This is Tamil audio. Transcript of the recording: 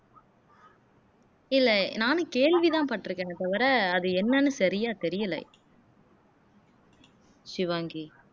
இல்லை நானும் கேள்வி தான் பட்டிருக்கேன்னே தவிர அது என்னன்னு சரியா தெரியலே ஷிவாங்கி